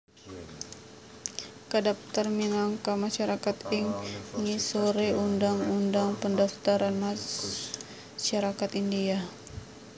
kadaptar minangka masyarakat ing ngisore Undang Undang Pendaftaran Masyarakat India